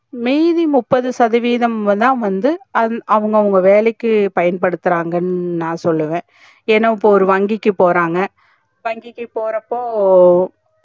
may be முப்பது சதவீதம் தா வந்து அவுங்க அவங்க வேலைக்கு பயன்படுத்துறாங்க னு நா சொல்லுவ ஏனா இப்போ ஒரு வங்கிக்கு போறாங்க வங்கிக்கு போறப்போ